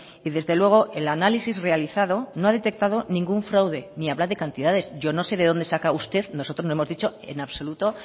y desde luego el análisis realizado no ha detectado ningún fraude ni habla de cantidades yo no sé de dónde saca usted nosotros no hemos dicho en absoluto